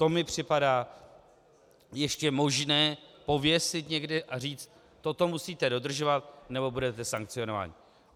To mi připadá ještě možné pověsit někde a říct: toto musíte dodržovat, nebo budete sankcionováni.